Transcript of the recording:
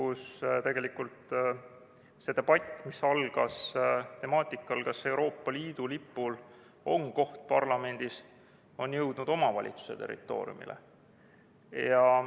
See debatt, mis algas selle üle, kas Euroopa Liidu lipul on koht parlamendis, on jõudnud omavalitsuse territooriumile.